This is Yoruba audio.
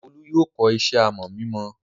Olú yóò kọ́ iṣẹ́ àmọ̀ mímọ!